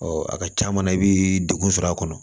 a ka ca na i bi degun sɔrɔ a kɔnɔ